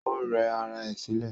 Ó rẹ ara ẹ̀ sílẹ̀